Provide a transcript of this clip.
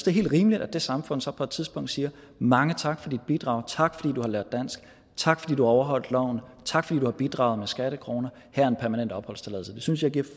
er helt rimeligt at det samfund så på et tidspunkt siger mange tak for dit bidrag tak fordi du har lært dansk tak fordi du har overholdt loven tak fordi du har bidraget med skattekroner her er en permanent opholdstilladelse det synes jeg giver